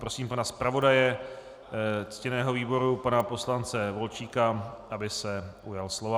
Pprosím pana zpravodaje ctěného výboru pana poslance Volčíka, aby se ujal slova.